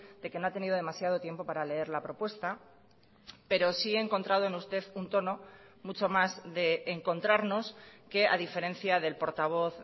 de que no ha tenido demasiado tiempo para leer la propuesta pero sí he encontrado en usted un tono mucho más de encontrarnos que a diferencia del portavoz